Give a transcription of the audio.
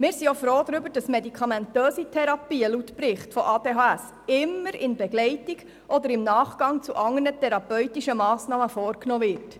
Wir sind auch froh darüber, dass medikamentöse Therapien laut Bericht immer in Begleitung oder im Nachgang zu anderen therapeutischen Massnahmen vorgenommen werden.